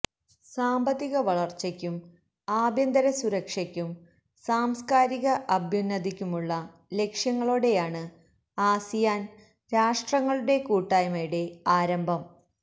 സാമ്പത്തിക വളര്ച്ചയ്ക്കും ആഭ്യന്തര സുരക്ഷയ്ക്കും സാംസ്കാരിക അഭ്യുന്നതിക്കുമുള്ള ലക്ഷ്യങ്ങളോടെയാണ് ആസിയാന് രാഷ്ട്രങ്ങളുടെ കൂട്ടായ്മയുടെ ആരംഭം